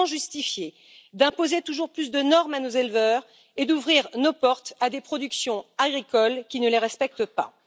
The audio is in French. Comment justifier d'imposer toujours plus de normes à nos éleveurs, tout en ouvrant nos portes à des productions agricoles qui ne les respectent pas?